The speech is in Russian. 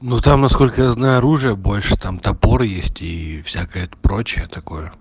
ну там насколько я знаю оружие больше там топор и есть и всякая прочая такое